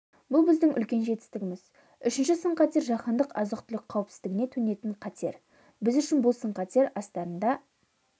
бұл біздің үлкен жетістігіміз үшінші сын-қатер жаһандық азық-түлік қауіпсіздігіне төнетін қатер біз үшін бұл сын-қатер астарында